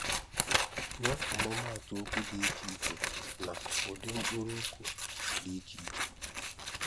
Nye ọmụmatụ okwu dị iche iche na ụdị mkpụrụokwu dị iche iche